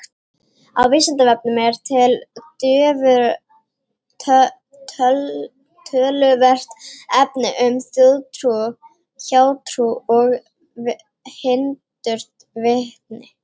Á Vísindavefnum er til töluvert efni um þjóðtrú, hjátrú og hindurvitni.